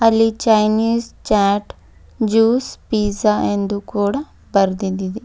ಇಲ್ಲಿ Chinese chaat juice pizza ಎಂದು ಕೂಡ ಬರೆದಿದ್ ಇದೆ.